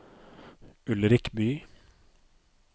Ulrik Bye